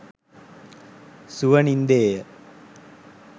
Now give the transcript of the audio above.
සුව නින්දේය